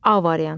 A variantı.